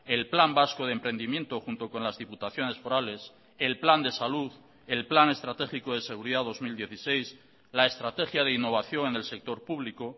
el plan vasco de emprendimiento junto con las diputaciones forales el plan de salud el plan estratégico de seguridad dos mil dieciséis la estrategia de innovación en el sector público